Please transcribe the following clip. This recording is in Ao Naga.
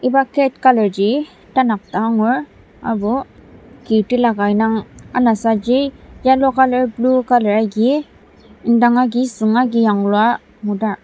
iba gate colourji tanak dang agur aserbo ki tilaka indang anasaji yellow colour blue colour agi indang agi süng agi yanglua ngudar.